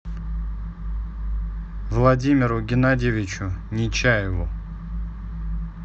владимиру геннадьевичу нечаеву